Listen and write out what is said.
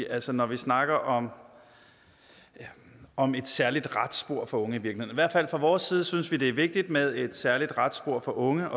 altså når vi snakker om om et særligt retsspor for unge fra vores side synes vi at det er vigtigt med et særligt retsspor for unge